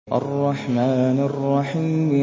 الرَّحْمَٰنِ الرَّحِيمِ